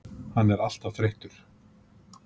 Hann er alltaf þreyttur.